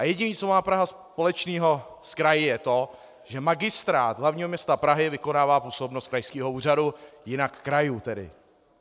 A jediné, co má Praha společného s kraji, je to, že Magistrát hlavního města Prahy vykonává působnost krajského úřadu, jinak krajů tedy.